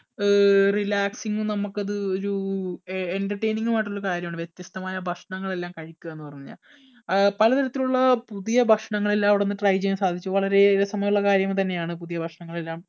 ആഹ് relaxing ഉം നമുക്ക് അത് ഒരു എ entertaining ഉം ആയിട്ടുള്ള കാര്യമാണ്. വ്യത്യസ്തമായ ഭക്ഷണങ്ങളെല്ലാം കഴിക്കുക എന്ന് പറഞ്ഞാൽ. ആഹ് പലതരത്തിലുള്ള പുതിയ ഭക്ഷണങ്ങൾ എല്ലാം അവിടുന്ന് try ചെയ്യാൻ സാധിച്ചു വളരെയേറെ രസമുള്ളകാര്യം തന്നെയാണ് പുതിയ ഭക്ഷണങ്ങളെല്ലാം